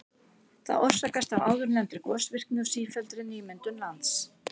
Það orsakast af áðurnefndri gosvirkni og sífelldri nýmyndun lands.